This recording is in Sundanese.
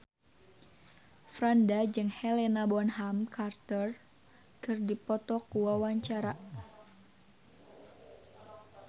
Franda jeung Helena Bonham Carter keur dipoto ku wartawan